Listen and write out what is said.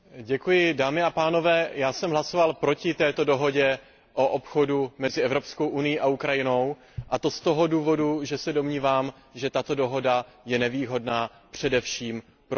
Pane předsedající, já jsem hlasoval proti této dohodě o obchodu mezi Evropskou unií a Ukrajinou, a to z toho důvodu, že se domnívám, že tato dohoda je nevýhodná především pro Ukrajinu.